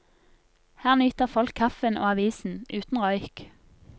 Her nyter folk kaffen og avisen, uten røyk.